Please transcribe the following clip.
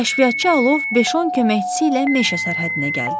Kəşfiyyatçı alov 5-10 köməkçisi ilə meşə sərhəddinə gəldi.